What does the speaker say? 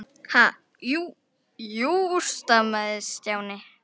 Ha- jú, jú stamaði Stjáni.